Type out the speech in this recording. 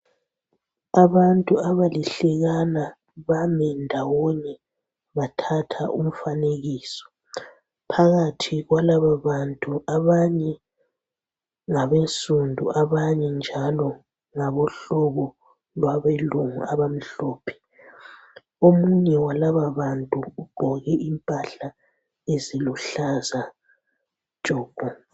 Abantu abalihlekana bami ndawonye bathatha umfanekiso phakathi kwalaba bantu abanye ngabesundu abanye njalo ngabohlobo lwabelungu abamhlophe omunye walaba bantu ugqoke impahla eziluhlaza tshoko.